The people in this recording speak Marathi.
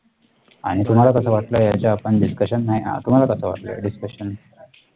आणि तुम्हाला कसं वाटलं याच्या आपण discussion आहे. तुम्हाला कसा वाट ला discussion